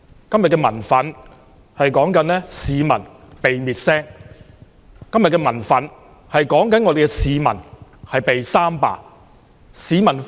今天的民憤是市民被滅聲，今天的民憤是市民被"三罷"。